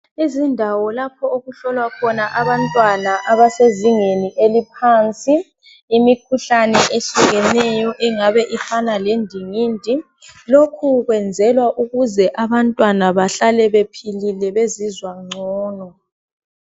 Izindawo lapho okuhlola khona abantwana abasezingeni eliphansi imikhuhlane eyehlukeneyo engaba ifana lendingindi lokhu kwenzelwa ukuze abantwana behlale bephilile bezizwa ngcono.